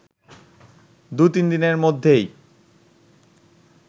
দু-তিনদিনের মধ্যেই